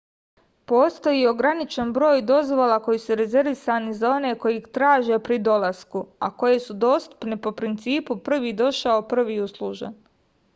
postoji ograničen broj dozvola koje su rezervisane za one koji ih traže pri dolasku a koje su dostupne po principu prvi došao prvi uslužen